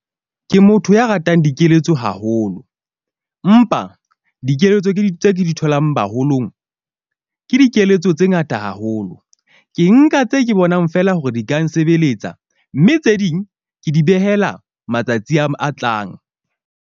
Ke motho ya ratang dikeletso haholo, mpa dikeletso tse ke di tholang baholong. Ke dikeletso tse ngata haholo. Ke nka tse ke bonang feela hore di ka nsebeletsa, mme tse ding ke di behela matsatsi a a tlang.